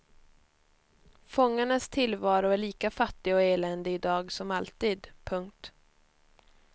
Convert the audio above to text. Fångarnas tillvaro är lika fattig och eländig i dag som alltid. punkt